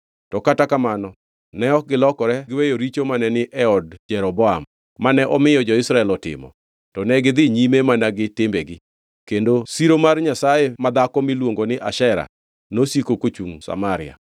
To kata kamano ne ok gilokore giweyo richo mane ni e od Jeroboam, mane omiyo jo-Israel otimo, to negidhi nyime mana gi timbegi. Kendo siro mar nyasaye madhako miluongo ni Ashera nosiko kochungʼ Samaria.